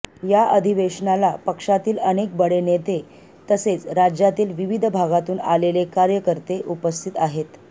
या अधिवेशनाला पक्षातील अनेक बडे नेते तसेच राज्यातील विविध भागातून आलेले कार्यकर्ते उपस्थित आहेत